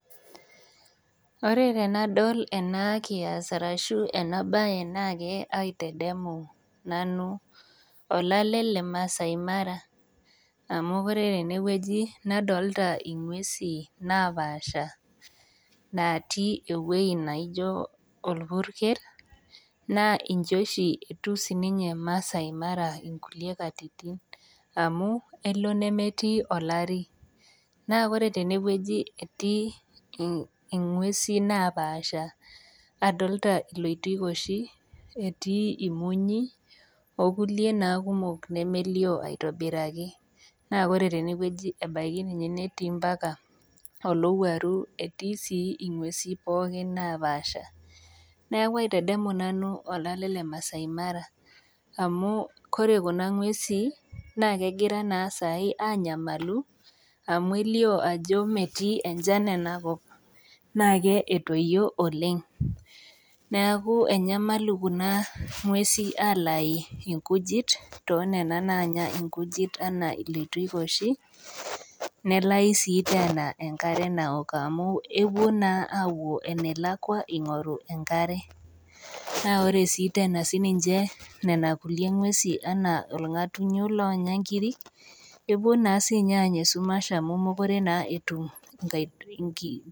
Wore tenadol ena kias arashu enabaye naake aitadamu nanu olale le maasai Mara amu wore tenewuoji nadolita inguesin naapaasha, naatii ewoji naijo orpurkel, naa ijo oshi etiu sininye Masai Mara inkulie katitin amu elo nemetii olari. Naa wore tenewuoji etii inguesin naapaasha, nadolita ilotikoshi etii irmonyi, okulie naa kumok nemelio aitobiraki. Naa wore tenewuoji ebaiki ninye netii ambaka olowuaru, etii sii inguesin pookin naapaasha. Neeku aitadamu nanu olale le maasai Mara amu kore kuna ngwesin naa kegirai naa saai aanyamalu, amu elio ajo metii enchan enakop. Naake etoyio oleng', neeku enyamalu kuna ngwesin aalayu inkujit tooniana naanya inkujit enaa ilotikoshi, nelayu sii tena enkare naok amu epuo naa aapuo enelakwa ingoru enkare. Naa wore sii tena sininche niana kulie ngwesin enaa ilngatunyo loonya inkirik, epuo naa siinye anya esumash amu mekure etum